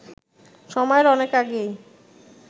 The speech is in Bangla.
সময়ের অনেক আগেই